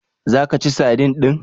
Za ka ci sadin din?